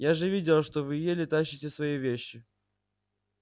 я же видела что вы еле тащите свои вещи